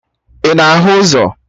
Ị na-ahụ ụzọ?